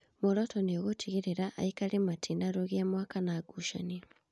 Mworoto nĩgũtigĩrĩra aikari matinarũgia mwaka na ngucanio